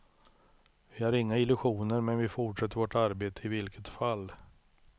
Vi har inga illusioner, men vi fortsätter vårt arbete i vilket fall.